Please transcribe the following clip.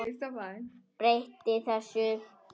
Breyti þessu.